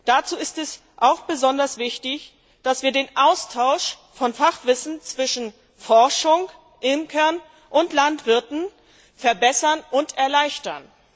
Dazu ist es auch besonders wichtig, dass wir den Austausch von Fachwissen zwischen Forschern, Imkern und Landwirten verbessern und erleichtern.